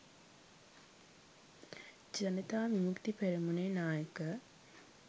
ජනතා විමුක්ති පෙරමුණේ නායක